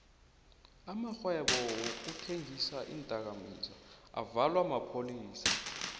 amarhwebo wokuthengisa iindoka mizwa avalwa maphayisa